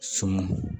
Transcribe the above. So m